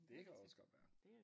Det kan også godt være